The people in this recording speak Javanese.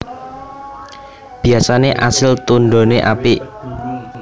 Biyasane asil tundhone apik